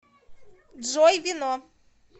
джой вино